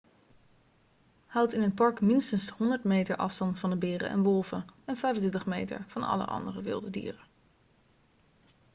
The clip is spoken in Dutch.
houd in het park minstens 100 meter afstand van beren en wolven en 25 meter van alle andere wilde dieren